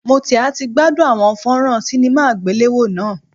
Mo ti a ti gbadun awọn fonron cinema agbelewo naa